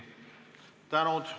Ilusat päeva!